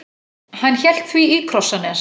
Hann hélt því í Krossanes.